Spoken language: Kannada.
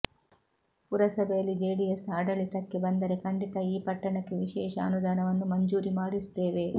ಪುರಸಭೆಯಲ್ಲಿ ಜೆಡಿಎಸ್ ಆಡಳಿತಕ್ಕೆ ಬಂದರೆ ಖಂಡಿತ ಈ ಪಟ್ಟಣಕ್ಕೆ ವಿಶೇಷ ಅನುದಾನವನ್ನು ಮಂಜೂರಿ ಮಾಡಿಸುತ್ತೇವೆ